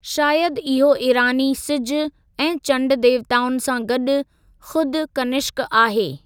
शायद इहो ईरानी सिजु ऐं चंडु देवताउनि सां गॾु खुद कनिष्क आहे।